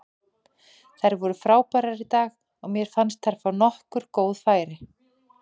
Þær voru frábærar í dag og mér fannst þær fá nokkur góð færi.